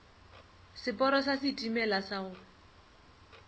seporo sa setimela sa go